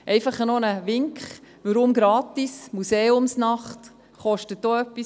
Einfach noch ein Wink: Warum Gratis? – Die Museumsnacht kostet auch etwas: